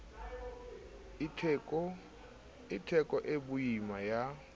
e theko e boima ya